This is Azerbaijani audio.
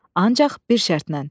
Ancaq bir şərtlə: